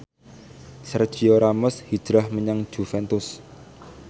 Sergio Ramos hijrah menyang Juventus